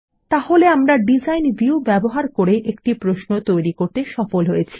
তাহলে আমরা design view ব্যবহার করে একটি প্রশ্ন তৈরী করতে সফল হয়েছি